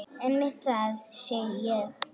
Einmitt það, segi ég.